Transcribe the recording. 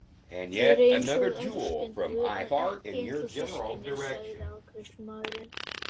Þið eruð einsog elskendur en ekki einsog systkini, sagði afgreiðslumaðurinn.